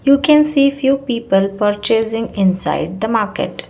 You can see few people purchasing inside the market.